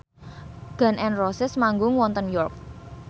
Gun n Roses manggung wonten York